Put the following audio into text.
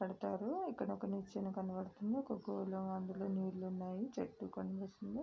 పడతారు. ఇక్కడ ఒక నిచ్చిన కనబడుతుంది. ఒక గోళం అందులో నీళ్లు ఉన్నాయి. చెట్టు కనిపిస్తుంది.